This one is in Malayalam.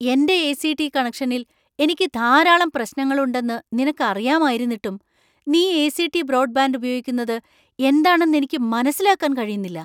എന്‍റെ എ.സി.ടി. കണക്ഷനിൽ എനിക്ക് ധാരാളം പ്രശ്‌നങ്ങളുണ്ടെന്ന് നിനക്ക് അറിയാമായിരുന്നിട്ടും നീ എ.സി .ടി .ബ്രോഡ്‌ബാൻഡ് ഉപയോഗിക്കുന്നത് എന്താണെന്നു എനിക്ക് മനസ്സിലാക്കാൻ കഴിയുന്നില്ല.